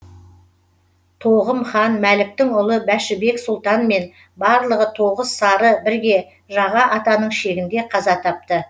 тоғым хан мәліктің ұлы бәшібек сұлтанмен барлық тоғыз сары бірге жаға атаның шегінде қаза тапты